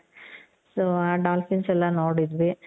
ಆ dolphins ಎಲ್ಲಾ ನೋಡಿದ್ವಿ